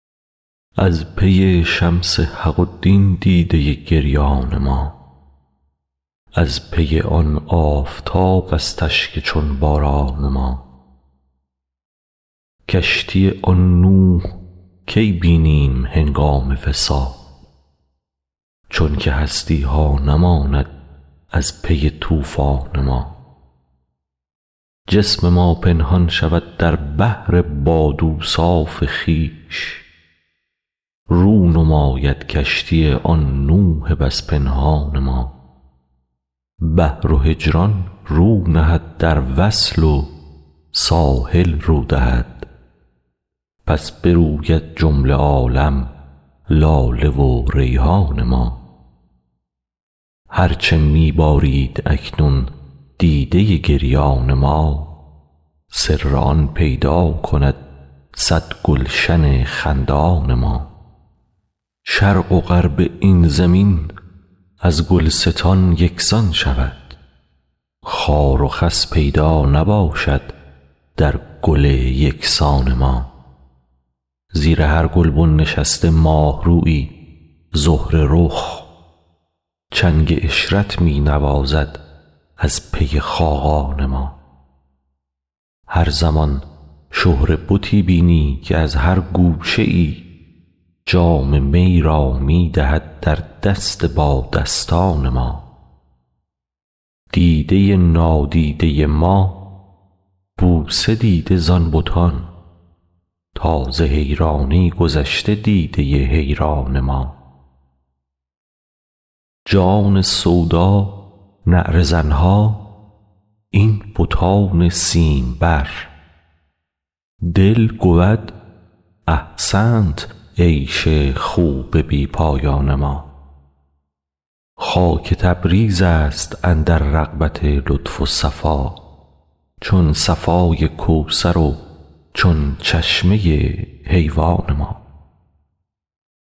از پی شمس حق و دین دیده گریان ما از پی آن آفتابست اشک چون باران ما کشتی آن نوح کی بینیم هنگام وصال چونک هستی ها نماند از پی طوفان ما جسم ما پنهان شود در بحر باد اوصاف خویش رو نماید کشتی آن نوح بس پنهان ما بحر و هجران رو نهد در وصل و ساحل رو دهد پس بروید جمله عالم لاله و ریحان ما هر چه می بارید اکنون دیده گریان ما سر آن پیدا کند صد گلشن خندان ما شرق و غرب این زمین از گلستان یک سان شود خار و خس پیدا نباشد در گل یک سان ما زیر هر گلبن نشسته ماه رویی زهره رخ چنگ عشرت می نوازد از پی خاقان ما هر زمان شهره بتی بینی که از هر گوشه ای جام می را می دهد در دست بادستان ما دیده نادیده ما بوسه دیده زان بتان تا ز حیرانی گذشته دیده حیران ما جان سودا نعره زن ها این بتان سیمبر دل گود احسنت عیش خوب بی پایان ما خاک تبریزست اندر رغبت لطف و صفا چون صفای کوثر و چون چشمه حیوان ما